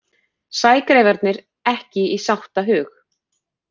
Sægreifarnir ekki í sáttahug